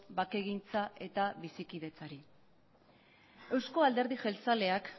bakegintza eta bizikidetzari euzko alderdi jeltzaleak